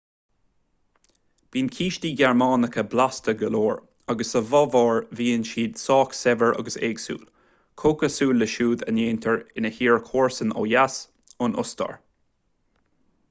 bíonn cístí gearmánacha blasta go leor agus sa bhaváir bíonn siad sách saibhir agus éagsúil comhchosúil le siúd a ndéantar ina tír comharsan ó dheas an ostair